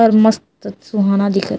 और मस्त सुहाना दिखत--